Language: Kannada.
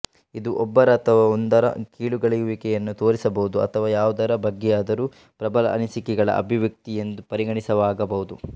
ಇದು ಒಬ್ಬರ ಅಥವಾ ಒಂದರ ಕೀಳುಗಳೆಯುವಿಕೆಯನ್ನು ತೋರಿಸಬಹುದು ಅಥವಾ ಯಾವುದರ ಬಗ್ಗೆಯಾದರೂ ಪ್ರಬಲ ಅನಿಸಿಕೆಯ ಅಭಿವ್ಯಕ್ತಿ ಎಂದು ಪರಿಗಣಿತವಾಗಬಹುದು